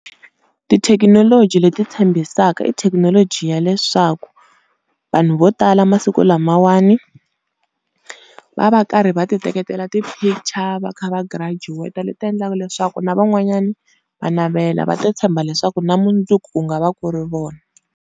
Tithekinoloji leti tshembisaka, i thekinoloji ya leswaku vanhu vo tala masiku lamawani va va va karhi va ti teketela ti-picture va kha va graduate, leti endlaka leswaku na van'wanyani va navela va ta tshemba leswaku na mundzuku ku nga va ku ri vona.